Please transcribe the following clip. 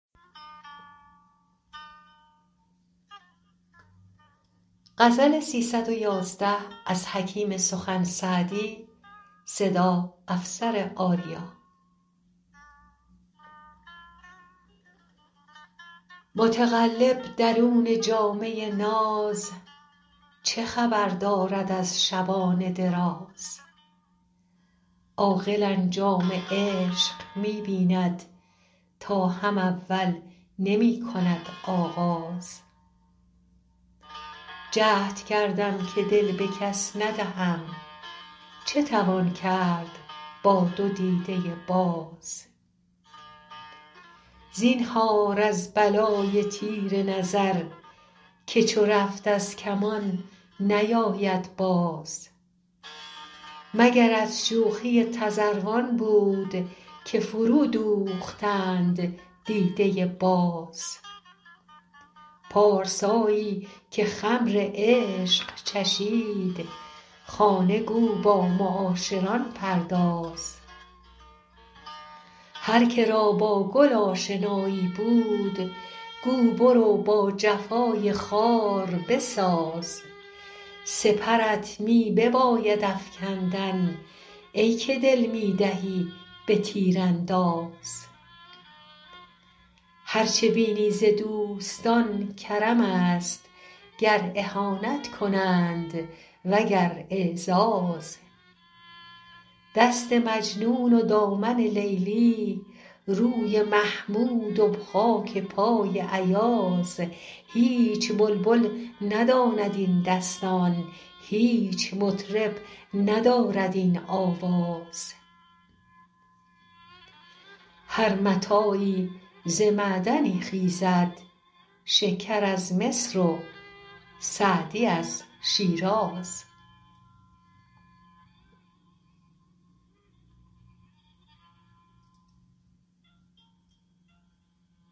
متقلب درون جامه ناز چه خبر دارد از شبان دراز عاقل انجام عشق می بیند تا هم اول نمی کند آغاز جهد کردم که دل به کس ندهم چه توان کرد با دو دیده باز زینهار از بلای تیر نظر که چو رفت از کمان نیاید باز مگر از شوخی تذروان بود که فرودوختند دیده باز محتسب در قفای رندانست غافل از صوفیان شاهدباز پارسایی که خمر عشق چشید خانه گو با معاشران پرداز هر که را با گل آشنایی بود گو برو با جفای خار بساز سپرت می بباید افکندن ای که دل می دهی به تیرانداز هر چه بینی ز دوستان کرمست گر اهانت کنند و گر اعزاز دست مجنون و دامن لیلی روی محمود و خاک پای ایاز هیچ بلبل نداند این دستان هیچ مطرب ندارد این آواز هر متاعی ز معدنی خیزد شکر از مصر و سعدی از شیراز